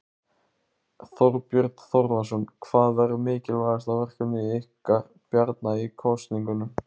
Þorbjörn Þórðarson: Hvað verður mikilvægasta verkefni ykkar Bjarna í kosningunum?